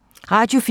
Radio 4